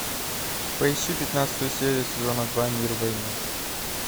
поищи пятнадцатую серию сезона два мир в войне